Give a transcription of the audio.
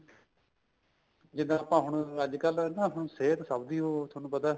ਜਿੱਦਾਂ ਆਪਾਂ ਹੁਣ ਅੱਜਕਲ ਨਾ ਹੁਣ ਸਿਹਤ ਸਭ ਦੀ ਓ ਤੁਹਾਨੂੰ ਪਤਾ